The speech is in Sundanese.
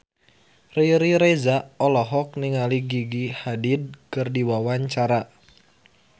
Riri Reza olohok ningali Gigi Hadid keur diwawancara